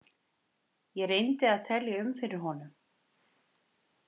Ég reyndi að telja um fyrir honum.